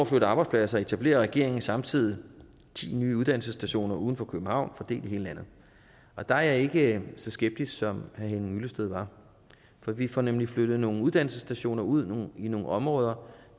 flytte arbejdspladser etablerer regeringen samtidig ti nye uddannelsesstationer uden for københavn fordelt i hele landet og der er jeg ikke så skeptisk som herre henning hyllested var for vi får nemlig flyttet nogle uddannelsesstationer ud i nogle områder